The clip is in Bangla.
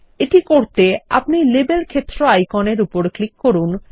এটি করতে আপনিLabel ক্ষেত্র আইকনের উপর ক্লিক করুন